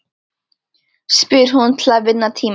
spyr hún til að vinna tíma.